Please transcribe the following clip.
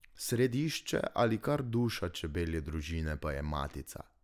Središče ali kar duša čebelje družine pa je matica.